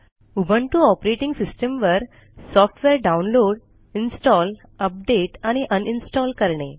Ubuntu operating system वर सॉफ्टवेअरdownload install update आणि अनइन्स्टॉल करणे